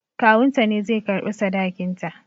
Kawunta ne zai karɓi sadakinta